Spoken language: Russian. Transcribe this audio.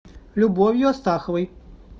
любовью астаховой